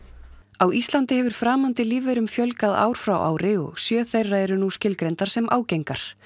á Íslandi hefur framandi lífverum fjölgað ár frá ári og sjö þeirra eru nú skilgreindar sem ágengar